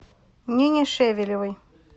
нине шевелевой